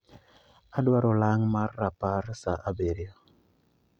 Adwaro olang' mar rapar saa abirio